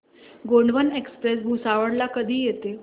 Gondwana express Bhusawal ला कधी येते